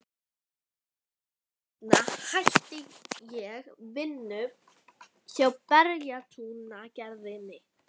Skömmu seinna hætti ég vinnu hjá Bæjarútgerðinni.